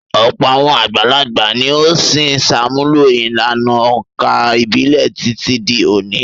Ọ̀pọ̀ àwọn àgbàlagbà ni ó ṣì ń ṣàmúlò ìlànà òǹkà ìbílẹ̀ títí di òní.